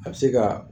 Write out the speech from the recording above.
A bɛ se ka